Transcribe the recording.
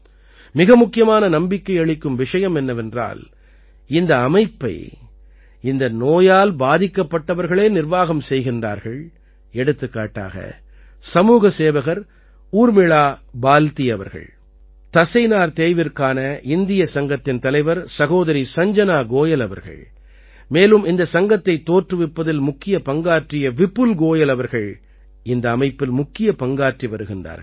மிக முக்கியமான நம்பிக்கை அளிக்கும் விஷயம் என்னவென்றால் இந்த அமைப்பை இந்த நோயால் பாதிக்கப்பட்டவர்களே நிர்வாகம் செய்கிறார்கள் எடுத்துக்காட்டாக சமூக சேவகர் ஊர்மிளா பால்தீ அவர்கள் தசைநார் தேய்விற்கான இந்தியச் சங்கத்தின் தலைவர் சகோதரி சஞ்ஜனா கோயல் அவர்கள் மேலும் இந்தச் சங்கத்தைத் தோற்றுவிப்பதில் முக்கிய பங்காற்றிய விபுல் கோயல் அவர்கள் இந்த அமைப்பில் முக்கிய பங்காற்றி வருகின்றார்கள்